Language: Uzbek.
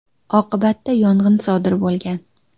Oqibatda yong‘in sodir bo‘lgan.